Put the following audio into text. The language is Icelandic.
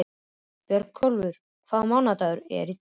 Björgúlfur, hvaða mánaðardagur er í dag?